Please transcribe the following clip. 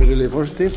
virðulegi forseti